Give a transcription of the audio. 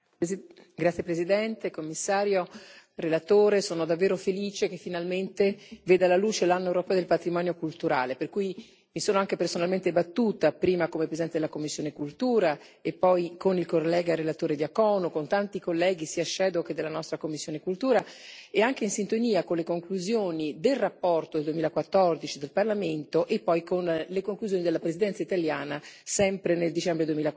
Signor Presidente, onorevoli colleghi, signor Commissario, onorevole relatore, sono davvero felice che finalmente veda la luce l'Anno europeo del patrimonio culturale, per cui mi sono anche personalmente battuta prima come presidente della commissione per la cultura e poi con il collega relatore Diaconu e con tanti colleghi, sia che della nostra commissione per la cultura, anche in sintonia con le conclusioni della relazione 2014 del Parlamento e poi con le conclusioni della Presidenza italiana, sempre nel dicembre